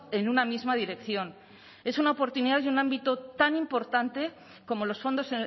en una misma dirección es una oportunidad y un ámbito tan importante como los fondos